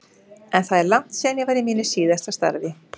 En það er langt síðan ég var í mínu síðasta starfi.